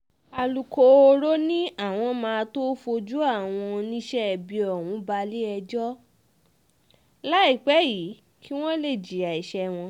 alūkkóró ni àwọn máa tóó fojú àwọn oníṣẹ́ ibi ọ̀hún balẹ̀-ẹjọ́ láìpẹ́ yìí kí wọ́n lè jìyà ẹsẹ̀ wọn